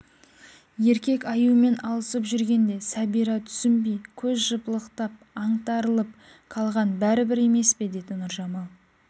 еркек аюмен алысып жүрген де сәбира түснбей көз жыпылықтап аңтарылып қалған бәрібір емес пе деді нұржамал